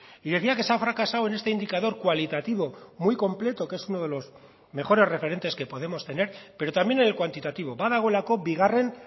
y decía que se ha fracasado en este indicador cualitativo muy completo que es uno de los mejores referentes que podemos tener pero también en el cuantitativo badagoelako bigarren